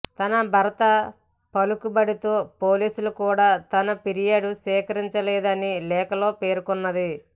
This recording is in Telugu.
తన భర్త పలుకుబడితో పోలీసులు కూడా తన ఫిర్యాదు స్వీకరించలేదని లేఖలో పేర్కొన్నది